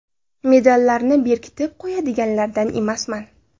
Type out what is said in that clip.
Medallarni berkitib qo‘yadiganlardan emasman.